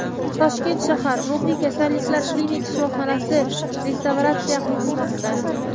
Toshkent shahar ruhiy kasalliklar klinik shifoxonasi restavratsiya qilinmoqda.